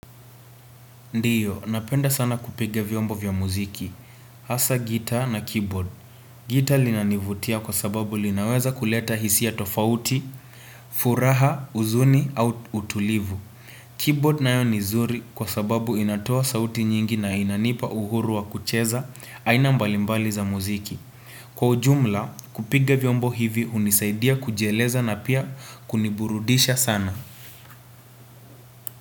Ndiyo, napenda sana kupiga vyombo vya muziki. Hasa gitaa na keyboard. Gitaa linanivutia kwa sababu linaweza kuleta hisia tofauti, furaha, huzuni, au utulivu. Keyboard nayo ni zuri kwa sababu inatoa sauti nyingi na inanipa uhuru wa kucheza, aina mbalimbali za muziki. Kwa ujumla, kupiga vyombo hivi hunisaidia kujieleza na pia kuniburudisha sana.